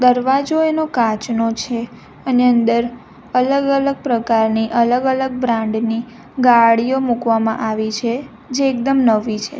દરવાજો એનો કાચનો છે અને અંદર અલગ-અલગ પ્રકારની અલગ-અલગ બ્રાન્ડ ની ગાડીઓ મૂકવામાં આવી છે જે એકદમ નવી છે.